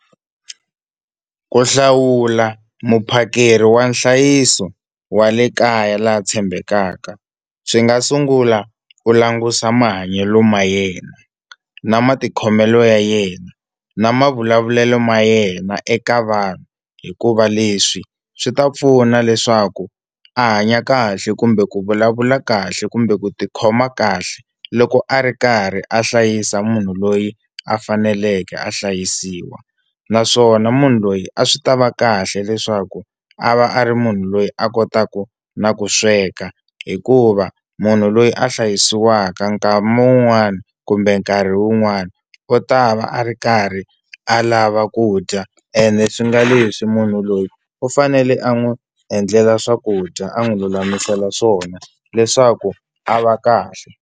Ku hlawula muphakeri wa nhlayiso wa le kaya la tshembekaka swi nga sungula ku langusa mahanyelo ma yena na matikhomelo ya yena na mavulavulelo ma yena eka vanhu hikuva leswi swi ta pfuna leswaku a hanya kahle kumbe ku vulavula kahle kumbe ku tikhoma kahle loko a ri karhi a hlayisa munhu loyi a faneleke a hlayisiwa naswona munhu loyi a swi ta va kahle leswaku a va a ri munhu loyi a kotaka na ku sweka hikuva munhu loyi a hlayisiwaka nkama wun'wani kumbe nkarhi wun'wani u ta va a ri karhi a lava ku dya ene swi nga leswi munhu loyi u fanele a n'wi endlela swakudya a n'wi lulamisela swona leswaku a va kahle.